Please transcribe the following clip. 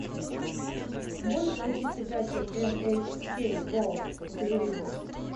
можешь включить передачу эн эйч кей ворлд на телевизоре